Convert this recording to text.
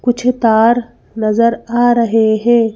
कुछ तारनजर आ रहे हैं।